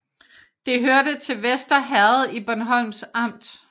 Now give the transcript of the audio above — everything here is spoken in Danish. Det hørte til Vester Herred i Bornholms Amt